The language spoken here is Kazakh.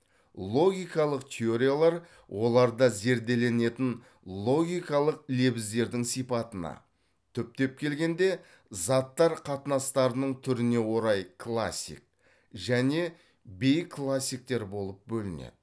логикалық теориялар оларда зерделенетін логикалық лебіздердің сипатына түптеп келгенде заттар қатынастарының түріне орай классик және бейклассиктер болып бөлінеді